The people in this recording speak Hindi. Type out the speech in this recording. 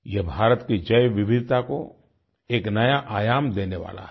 यह भारत की जैवविविधता को एक नया आयाम देने वाला है